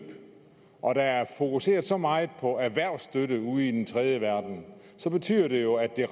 og når der er fokuseret så meget på erhvervsstøtte ude i den tredje verden så betyder det jo at det